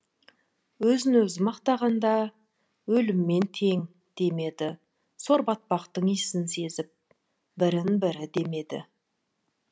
өзін өзі мақтағанда өліммен тең демеді сор батпақтың иісін сезіп бірін бірі демеді